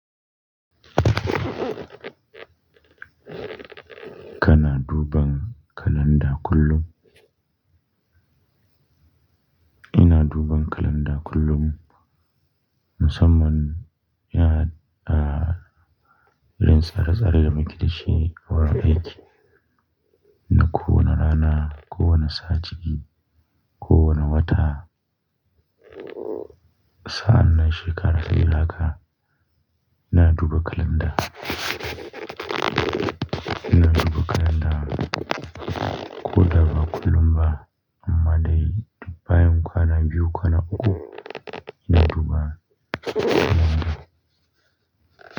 Kana duban kalanda kullum. Ina duban kalanda kullum musamman ya, ah, idan sara-sara da muke da shi wurin aiki. Na ko wane rana, ko wane sa'a ciki, ko wane wata, sa'an nan shekara irin haka, ina duba kalanda. Ina duba kalanda ko da ba kullum ba, amma dai bayan kwana biyu kwana uku, ina duba kalanda.